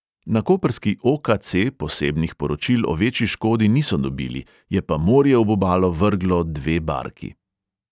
Na koprski o|ka|ce posebnih poročil o večji škodi niso dobili, je pa morje ob obalo vrglo dve barki.